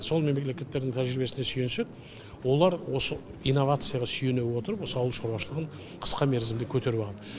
сол мемлекеттердің тәжірибесіне сүйенсек олар осы инновацияға сүйене отырып осы ауыл шаруашылығын қысқа мерзімде көтеріп алған